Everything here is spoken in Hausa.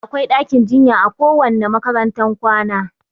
Da akwai ɗakin jinya a kowanne makarantar kwana